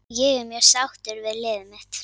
Ég er mjög sáttur við liðið mitt.